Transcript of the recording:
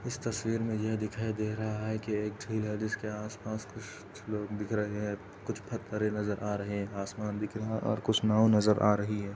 इस तस्वीर में यह दिखाई दे रहा है कि एक झील है जिस के आसपास कुछ लोग दिख रहे हैं कुछ नजर आ रहे हैं आसमान दिख रहा और कुछ नाव नजर आ रही हैं।